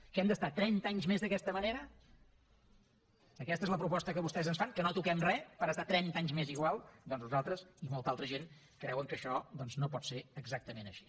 què hem d’estar trenta anys més d’aquesta manera aquesta és la proposta que vostès ens fan que no toquem res per estar trenta anys més igual doncs nosaltres i molta altra gent creuen que això no pot ser exactament així